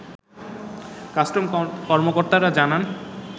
customs কর্মকর্তারা জানান